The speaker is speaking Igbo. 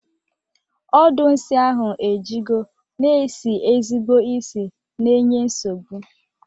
Ọdụ nsi ahụ ejigo na esi ezigbo isi na enye nsogbu.